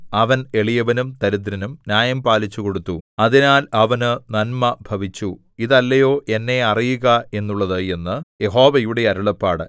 അവൻ എളിയവനും ദരിദ്രനും ന്യായം പാലിച്ചുകൊടുത്തു അതിനാൽ അവന് നന്മ ഭവിച്ചു ഇതല്ലയോ എന്നെ അറിയുക എന്നുള്ളത് എന്ന് യഹോവയുടെ അരുളപ്പാട്